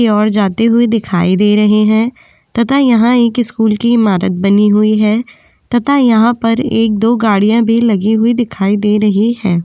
ओर जाते हुए दिखाई दे रहे हैं तथा यहाँ एक स्कूल की इमारत बनी हुई है तथा यहाँ पर एक दो गाड़ियां भी लगी हुई दिखाई दे रही है।